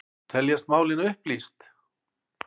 Teljast málin upplýst